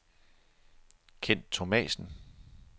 Kent Thomassen